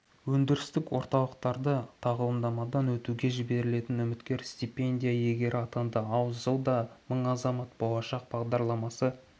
өндірістік орталықтарында тағылымдамадан өтуге жіберілетін үміткер стипендия иегері атанды ал жылда мың азамат болашақ бағдарламасы